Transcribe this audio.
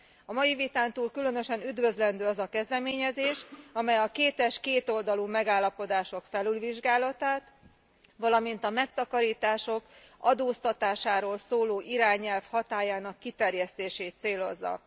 A mai vitán túl különösen üdvözlendő az a kezdeményezés, amely a kétes, kétoldalú megállapodások felülvizsgálatát, valamint a megtakarítások adóztatásáról szóló irányelv hatályának kiterjesztését célozza.